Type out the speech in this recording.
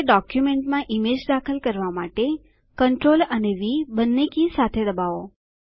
હવે ડોક્યુંમેંટમાં ઈમેજ દાખલ કરવા માટે CTRL અને વી બંને કી સાથે દબાવો